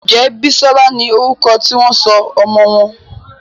Njé Bisola ní orúko tí wón sọ ọmọ wón?